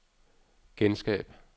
genskab